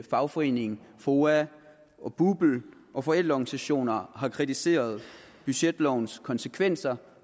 fagforeninger foa og bupl og forældreorganisationer har kritiseret budgetlovens konsekvenser